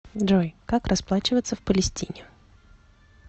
джой как расплачиваться в палестине